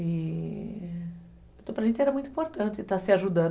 E... Então, para a gente era muito importante estar se ajudando.